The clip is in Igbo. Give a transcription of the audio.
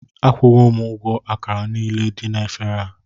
Akwụwo m ụgwọ àkàrà niile dị na éféré a